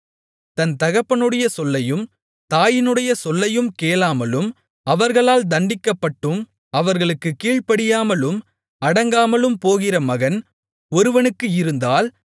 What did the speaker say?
தன் தகப்பனுடைய சொல்லையும் தாயினுடைய சொல்லையும் கேளாமலும் அவர்களால் தண்டிக்கப்பட்டும் அவர்களுக்குக் கீழ்ப்படியாமலும் அடங்காமலும் போகிற மகன் ஒருவனுக்கு இருந்தால்